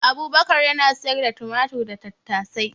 Abubakar yana siyar da tumatir da tattasai